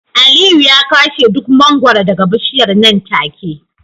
Aliyu ya kwashe duk mangwaro daga bishiyar nan take